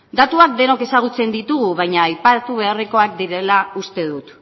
datuak denok ezagutzen ditugu baina aipatu beharrekoak direla uste dut